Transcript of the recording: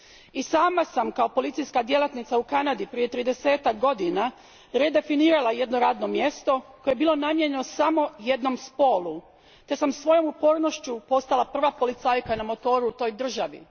I sama sam kao policijska djelatnica u Kanadi prije tridesetak godina redefinirala jedno radno mjesto koje je bilo namijenjeno samo jednom spolu te sam svojom upornošću postala prva policajka na motoru u toj državi.